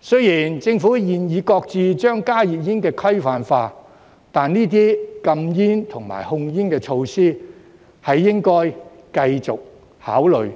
雖然政府現已擱置將加熱煙規範化，但這些禁煙和控煙措施亦應該繼續考慮